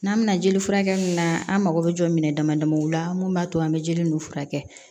N'an bɛna jeli furakɛ min na an mago bɛ jɔ minɛn dama damaw la mun b'a to an bɛ jeli ninnu furakɛ